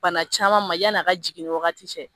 Bana caman ma yan'a ka jigin wagati cɛ